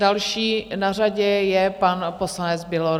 Další na řadě je pan poslanec Bělor.